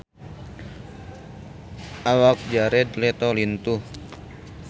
Awak Jared Leto lintuh